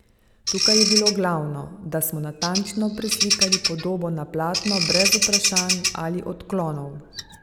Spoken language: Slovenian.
Tukaj je bilo glavno, da smo natančno preslikali podobo na platno brez vprašanj ali odklonov.